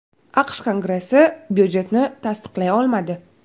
AQSh Kongressi budjetni tasdiqlay olmadi.